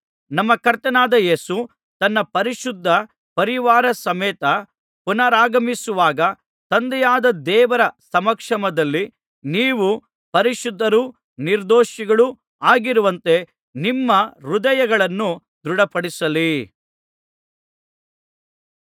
ನಮ್ಮ ಕರ್ತನಾದ ಯೇಸು ತನ್ನ ಪರಿಶುದ್ಧ ಪರಿವಾರ ಸಮೇತ ಪುನರಾಗಮಿಸುವಾಗ ತಂದೆಯಾದ ದೇವರ ಸಮಕ್ಷಮದಲ್ಲಿ ನೀವು ಪರಿಶುದ್ಧರೂ ನಿರ್ದೋಷಿಗಳೂ ಆಗಿರುವಂತೆ ನಿಮ್ಮ ಹೃದಯಗಳನ್ನು ದೃಢಪಡಿಸಲಿ